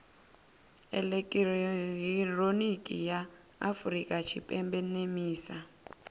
elekihironiki ya afurika tshipembe nemisa